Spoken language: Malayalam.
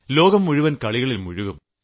ലോകം മുഴുവൻ ഗെയിംസിൽ മുഴുകും